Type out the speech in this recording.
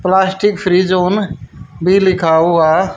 plastic fridge on भी लिखा हुआ--